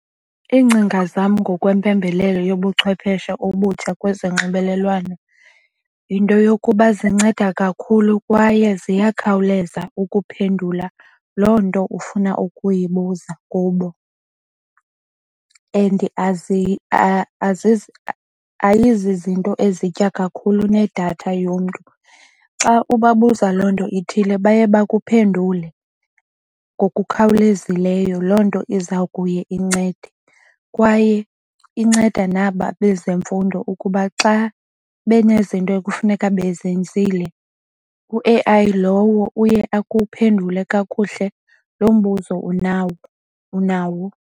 Iingcinga zam ngokwempembelelo yobuchwepheshe obutsha kwezonxibelelwano yinto yokuba zinceda kakhulu kwaye ziyakhawuleza ukuphendula loo nto ufuna ukuyibuza kubo. And ayizizinto ezitya kakhulu nedatha yomntu. Xa ubabuza loo nto ithile baye bakuphendule ngokukhawulezileyo. Loo nto iza kuye incede kwaye inceda naba bezemfundo ukuba xa benezinto ekufuneka bezenzile u-A_I lowo uye akuphendule kakuhle loo mbuzo unawo.